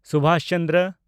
Subhas Chandra